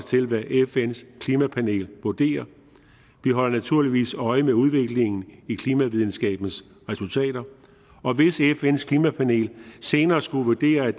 til hvad fns klimapanel vurderer vi holder naturligvis øje med udviklingen i klimavidenskabens resultater og hvis fns klimapanel senere skulle vurdere at